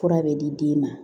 Fura bɛ di den ma